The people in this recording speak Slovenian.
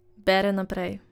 Bere naprej.